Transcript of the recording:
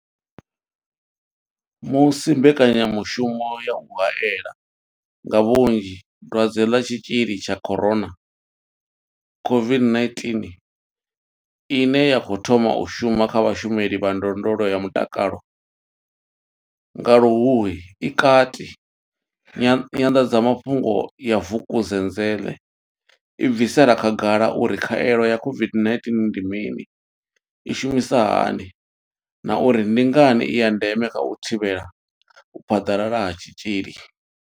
Musi mbekanyamushumo ya u haela nga vhunzhi dwadze ḽa tshitzhili tsha corona COVID-19 ine ya khou thoma u shuma kha vhashumeli vha ndondolo ya mutakalo nga Luhuhi i kati, i nyanḓadzamafhungo ya Vukuzenzele i bvisela khagala uri khaelo ya COVID-19 ndi mini, i shumisa hani na uri ndi ngani i ya ndeme kha u thivhela u phaḓalala ha tshitzhili.